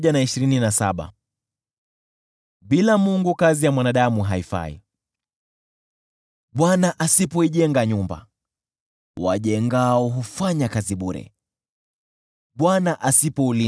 Bwana asipoijenga nyumba, wajengao hufanya kazi bure. Bwana asipoulinda mji, walinzi wakesha bure.